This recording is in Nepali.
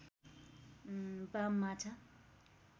बाम माछा